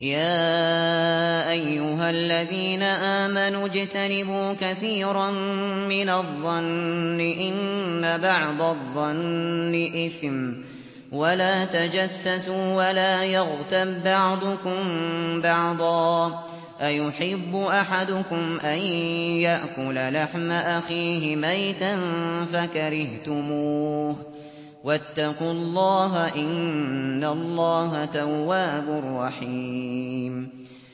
يَا أَيُّهَا الَّذِينَ آمَنُوا اجْتَنِبُوا كَثِيرًا مِّنَ الظَّنِّ إِنَّ بَعْضَ الظَّنِّ إِثْمٌ ۖ وَلَا تَجَسَّسُوا وَلَا يَغْتَب بَّعْضُكُم بَعْضًا ۚ أَيُحِبُّ أَحَدُكُمْ أَن يَأْكُلَ لَحْمَ أَخِيهِ مَيْتًا فَكَرِهْتُمُوهُ ۚ وَاتَّقُوا اللَّهَ ۚ إِنَّ اللَّهَ تَوَّابٌ رَّحِيمٌ